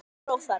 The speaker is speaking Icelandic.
Alger óþarfi.